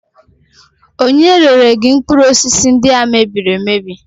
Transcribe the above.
Ònye rere gị mkpụrụ osisi ndị a e mebiri emebi?